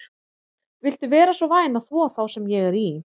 Viltu vera svo væn að þvo þá sem ég er í?